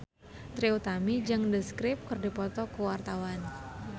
Trie Utami jeung The Script keur dipoto ku wartawan